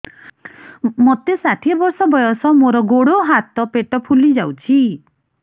ମୋତେ ଷାଠିଏ ବର୍ଷ ବୟସ ମୋର ଗୋଡୋ ହାତ ପେଟ ଫୁଲି ଯାଉଛି